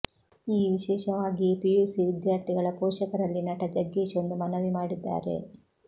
ಈ ವಿಶೇಷವಾಗಿಯೇ ಪಿಯುಸಿ ವಿದ್ಯಾರ್ಥಿಗಳ ಪೋಷಕರಲ್ಲಿ ನಟ ಜಗ್ಗೇಶ್ ಒಂದು ಮನವಿ ಮಾಡಿದ್ದಾರೆ